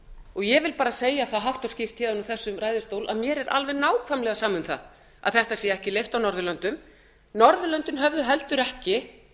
ég vil bara segja það hátt og skýrt úr þessum ræðustól að mér er alveg nákvæmlega sama um það að þetta sé ekki leyft á norðurlöndum norðurlöndin höfðu heldur ekki